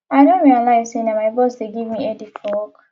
i don realize say na my boss dey give me headache for work